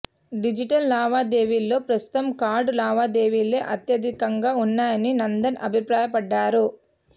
digital లావాదేవీల్లో ప్రస్తుతం card లావాదేవీలే అత్యధికంగా ఉన్నాయని నందన్ అభిప్రాయపడ్డారు